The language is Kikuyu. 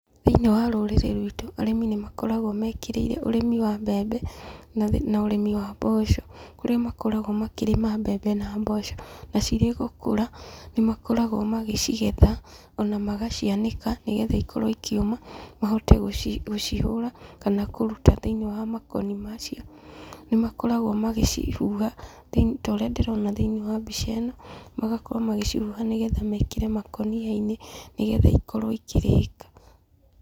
Thĩiniĩ wa rũrĩrĩ rwitũ, arĩmi nĩ makoragwo mekĩrĩire ũrĩmi wa mbembe, na ũrĩmi wa mboco, kũrĩa makoragwo makĩrĩma mbembe na mboco, na cirĩ gũkũra, nĩ makoragwo magĩcigetha, ona magacianĩka, nĩgetha ikorwo ikĩũma, mahote gũcihũra, kana kũruta thĩiniĩ wa makoni macio. Nĩ makoragwo magĩcihuha ta ũrĩa ndĩrona thĩiniĩ wa mbica ĩno, magakorwo magĩcihuha nĩgetha mekĩre makũnia-inĩ nĩgetha ikorwo ikĩrĩka.